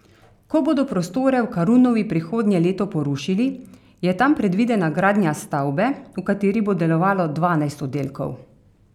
Ko bodo prostore v Karunovi prihodnje leto porušili, je tam predvidena gradnja stavbe, v kateri bo delovalo dvanajst oddelkov.